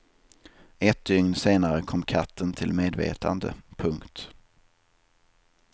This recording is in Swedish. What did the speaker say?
Ett dygn senare kom katten till medvetande. punkt